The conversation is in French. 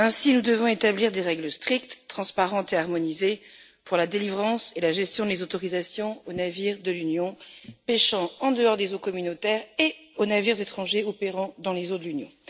Nous devons ainsi établir des règles strictes, transparentes et harmonisées pour la délivrance et la gestion des autorisations aux navires de l'Union pêchant en dehors des eaux communautaires et aux navires étrangers opérant dans les eaux de l'Union.